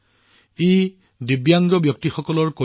দিব্যাংগসকলৰ কল্যাণৰ বাবে এইটো নিজেই এক অনন্য প্ৰচেষ্টা আছিল